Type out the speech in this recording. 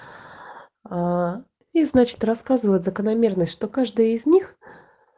ээ и значит рассказывает закономерность что каждый из них